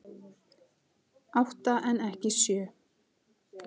Átta en ekki sjö